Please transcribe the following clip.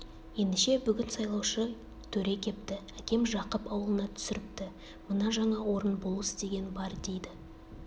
ендеше бүгін сайлаушы төре кепті әкем жақып аулына түсіріпті мына жаңа орын болыс деген бар дейді